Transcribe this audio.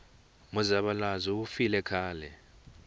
muzavalazo wu file khale